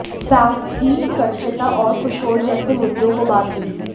साथ ही स्वच्छता और कुषोण जैसे मुद्दों को बात हुई